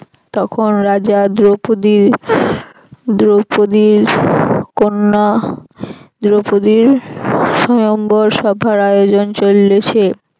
তখন রাজা দ্রপদী দ্রপদীর কন্যা দ্রৌপদীর সয়ম্বড় সভার আয়োজন চলছে